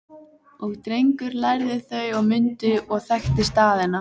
Og Drengur lærði þau og mundi og þekkti staðina